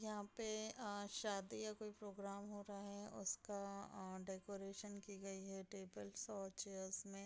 यहाँ पे अ शादी का कोई प्रोग्राम हो रहा है उसका अ डेकोरेशन की गयी है टेबलस और चेयर्स में।